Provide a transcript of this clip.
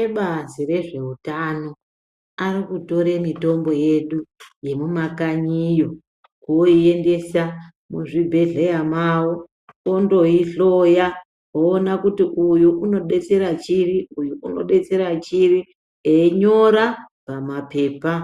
Ebazi rezveutano ari kutora mitombo yedu yemumakanyiyo oiendesa muzvibhedhleya mavo vondoihloya voona kuti uyu unodetsera chiri, uyu unodetsera chiri, einyora pamaphepha